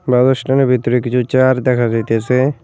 ভিতরে কিছু চেয়ার দেখা যাইতেছে।